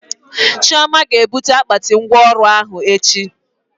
Chioma ga ebute akpati ngwa ọrụ ahụ echi